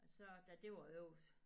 Så da det var overs